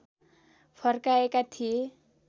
फर्काएका थिए